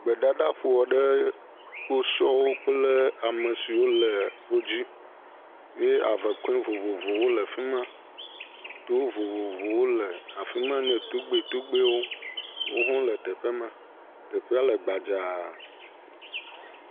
Gbedadaƒo aɖe. Kposɔwo kple ame siwo le wodzi ye avekɔe vovovowo le afi ma. Towo vovovowo le afi ma ne togbetogbewo. Wo hɔ̃ wole teƒe ma. Teƒea le gbadzaa.